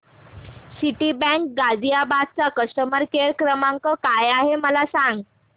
Citibank Ghaziabad चा customer care क्रमांक काय आहे मला सांग